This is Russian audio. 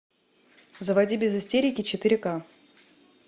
заводи без истерики четыре ка